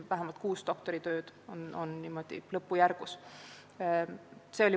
Vähemalt kuus doktoritööd on lõppjärgus.